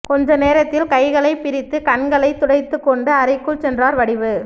கொஞ்ச நேரத்தில் கைகளைப் பிரித்து கண்களைத் துடைத்துக்கொண்டு அறைக்குச் சென்றார் வடிவு